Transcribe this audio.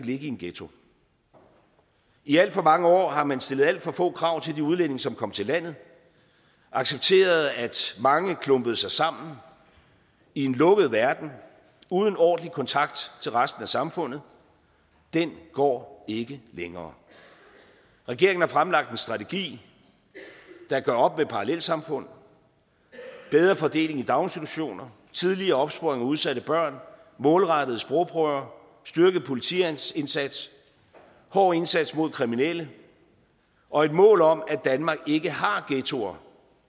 ligge i en ghetto i alt for mange år har man stillet alt for få krav til de udlændinge som kom til landet og accepteret at mange klumpede sig sammen i en lukket verden uden ordentlig kontakt til resten af samfundet den går ikke længere regeringen har fremlagt en strategi der gør op med parallelsamfund bedre fordeling i daginstitutioner tidligere opsporing af udsatte børn målrettede sprogprøver styrket politiindsats hård indsats mod kriminelle og et mål om at danmark ikke har ghettoer